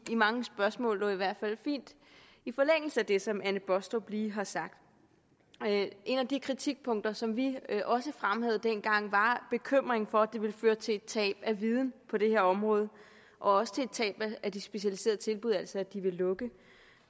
mange spørgsmål i hvert fald fint i forlængelse af det som fru anne baastrup lige har sagt et af de kritikpunkter som vi også fremhævede dengang var bekymringen for at det kunne føre til et tab af viden på det her område og også et tab af de specialiserede tilbud altså at de ville lukke